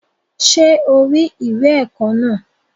Ṣé o rí ìwé ẹ̀kọ́ náà?